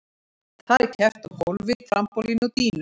Þar er keppt á gólfi, trampólíni og dýnu.